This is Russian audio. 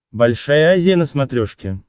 большая азия на смотрешке